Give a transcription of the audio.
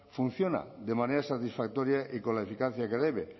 funciona de manera satisfactoria y con la eficacia que debe